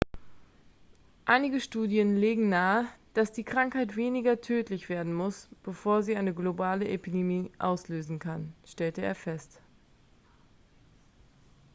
einige studien legen nahe dass die krankheit weniger tödlich werden muss bevor sie eine globale epidemie auslösen kann stellte er fest